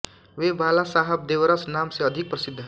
वे बाला साहब देवरस नाम से अधिक प्रसिद्ध हैं